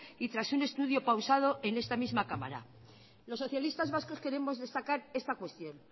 y tras un estudio pausado en esta misma cámara los socialistas vascos queremos destacar esta cuestión